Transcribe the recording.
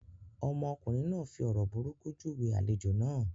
Ọmọkùnrin náà fi ọ̀rọ̀ burúkú júwe àlejò náà.